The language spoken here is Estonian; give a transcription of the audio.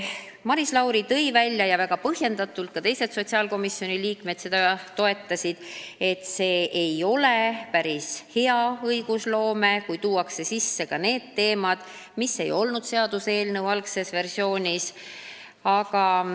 Maris Lauri tõi väga põhjendatult välja – ka teised sotsiaalkomisjoni liikmed toetasid teda –, et see ei ole päris hea õigusloome tava, kui tuuakse sisse need teemad, mida seaduseelnõu algses versioonis ei olnud.